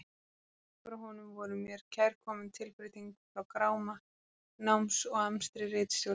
Bréfin frá honum voru mér kærkomin tilbreyting frá gráma náms og amstri ritstjórnar.